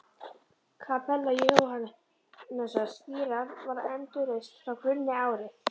Kapella Jóhannesar skírara var endurreist frá grunni árið